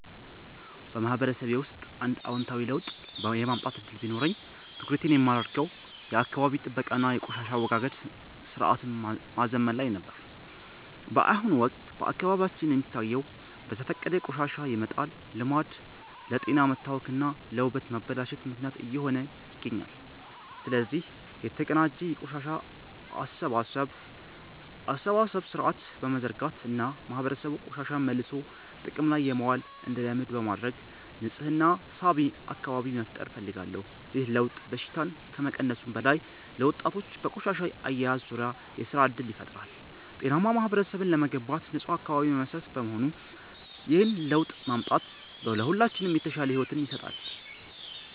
በማህበረሰቤ ውስጥ አንድ አዎንታዊ ለውጥ የማምጣት ዕድል ቢኖረኝ፣ ትኩረቴን የማደርገው የአካባቢ ጥበቃ እና የቆሻሻ አወጋገድ ሥርዓትን ማዘመን ላይ ነበር። በአሁኑ ወቅት በአካባቢያችን የሚታየው በዘፈቀደ ቆሻሻ የመጣል ልማድ ለጤና መታወክ እና ለውበት መበላሸት ምክንያት እየሆነ ይገኛል። ስለዚህ፣ የተቀናጀ የቆሻሻ አሰባሰብ ሥርዓት በመዘርጋት እና ማህበረሰቡ ቆሻሻን መልሶ ጥቅም ላይ ማዋል እንዲለምድ በማድረግ ንፁህና ሳቢ አካባቢ መፍጠር እፈልጋለሁ። ይህ ለውጥ በሽታን ከመቀነሱም በላይ፣ ለወጣቶች በቆሻሻ አያያዝ ዙሪያ የሥራ ዕድል ይፈጥራል። ጤናማ ማህበረሰብ ለመገንባት ንፁህ አካባቢ መሠረት በመሆኑ፣ ይህንን ለውጥ ማምጣት ለሁላችንም የተሻለ ሕይወት ይሰጣል።